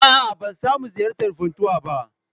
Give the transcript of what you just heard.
A'a, ban samu ziyartar Funtuwa ba.